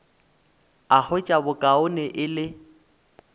a hwetša bokaone e le